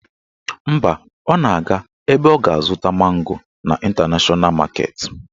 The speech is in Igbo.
Mba, ọ na-aga ebe ọ ga-azụta mango n' Ịntanashọna maketi